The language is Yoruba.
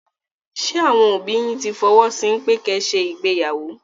Ṣé àwọn òbí yín tí fọwọ́ sí pẹ́ ki ẹ ṣe ìgbéyàwó?